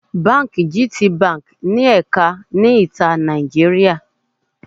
Báńkì gtbank ní ẹ̀ka ní ìta Nàìjíríà.